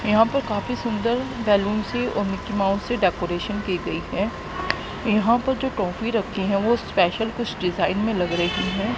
यहां पर काफी सुंदर बैलून से और मिक्की माउस से डेकोरेशन की गई हैं यहां पर जो टॉफी रखी है वो स्पैशल कुछ डिजाइन में लग रही है।